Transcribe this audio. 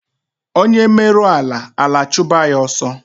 Onye mero ala, ala achụba ya asọ